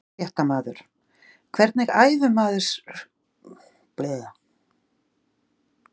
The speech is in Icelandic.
Fréttamaður: Hvernig æfir maður fyrir svona göngu?